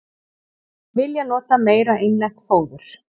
Vilja nota meira innlent fóður